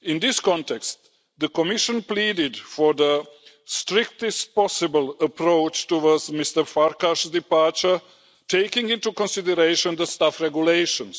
In this context, the Commission pleaded for the strictest possible approach towards Mr Farkas' departure, taking into consideration the Staff Regulations.